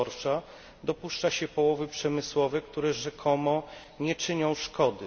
dorsza dopuszcza się połowy przemysłowe, które rzekomo nie czynią szkody.